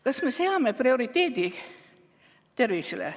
Kas me seame prioriteediks tervise?